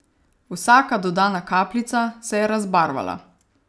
Vsaka dodana kapljica se je razbarvala.